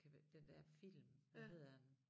Kan den der film hvad hedder den